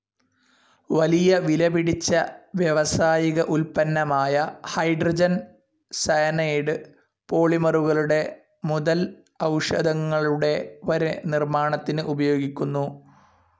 വലിയ വിലപിടിച്ച വ്യാവസായിക ഉൽപ്പന്നമായ ഹൈഡ്രോജൻ സയനൈഡ്‌ പോളിമറുകളുടെ മുതൽ ഔഷധങ്ങളുടെ വരെ നിർമാണത്തിന് ഉപയോഗിക്കുന്നു.